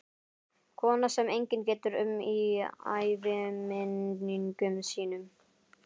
Kona sem enginn getur um í æviminningum sínum.